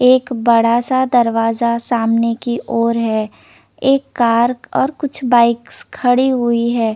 एक बड़ा सा दरवाजा सामने की और है एक कार और कुछ बाइक्स खड़ी हुई है।